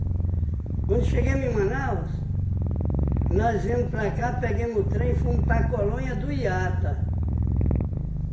Quando chegamos em Manaus, nós viemos para cá, pegamos o trem e fomos para colônia do Iata.